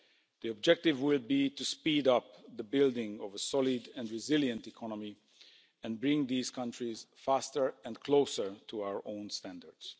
The objective will be to speed up the building of a solid and resilient economy and bring these countries faster and closer to our own standards.